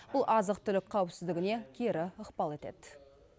бұл азық түлік қауіпсіздігіне кері ықпал етеді